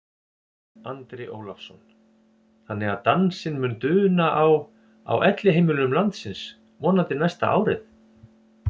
Andri Ólafsson: Þannig að dansinn mun duna á, á elliheimilum landsins vonandi næsta árið?